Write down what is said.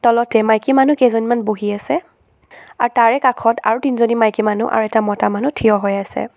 তলতে মাইকী মানুহ কেইজনীমান বহি আছে আৰু তাৰে কাষত আৰু তিনিজনী মাইকী মানুহ আৰু মতা মানুহ থিয় হৈ আছে।